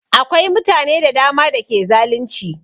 Akwai mutane da dama da ke zalunci